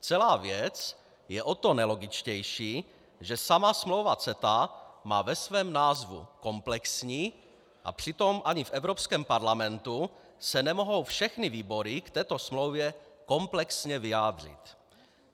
Celá věc je o to nelogičtější, že sama smlouva CETA má ve svém názvu komplexní, a přitom ani v Evropském parlamentu se nemohou všechny výbory k této smlouvě komplexně vyjádřit.